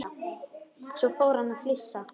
Svo fór hann að flissa.